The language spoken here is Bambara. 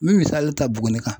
N mɛ misali ta Buguni kan.